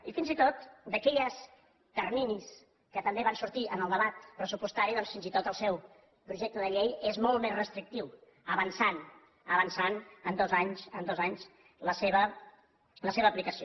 i fins i tot d’aquells terminis que també van sortir en el debat pressupostari doncs fins i tot el seu projecte de llei és molt més restrictiu que avança en dos anys en dos anys la seva aplicació